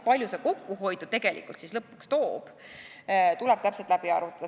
Palju see kokkuhoidu tegelikult lõpuks toob, tuleb täpselt läbi arvutada.